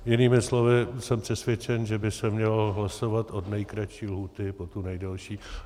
Jinými slovy, jsem přesvědčen, že by se mělo hlasovat od nejkratší lhůty po tu nejdelší.